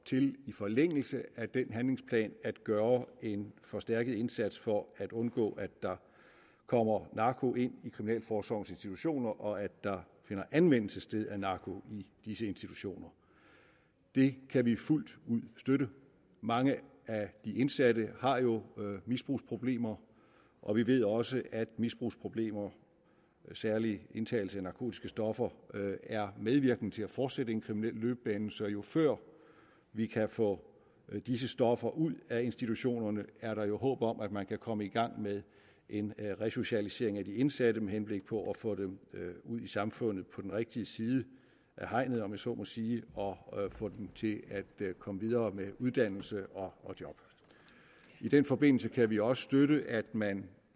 til i forlængelse af den handlingsplan at gøre en forstærket indsats for at undgå at der kommer narko ind i kriminalforsorgens institutioner og at der finder anvendelse sted af narko i disse institutioner det kan vi fuldt ud støtte mange af de indsatte har jo misbrugsproblemer og vi ved også at misbrugsproblemer særlig indtagelse af narkotiske stoffer er medvirkende til at fortsætte en kriminel løbebane så jo før vi kan få disse stoffer ud af institutionerne jo er der håb om at man kan komme i gang med en resocialisering af de indsatte med henblik på at få dem ud i samfundet på den rigtige side af hegnet om jeg så må sige og få dem til at komme videre med uddannelse og job i den forbindelse kan vi også støtte at man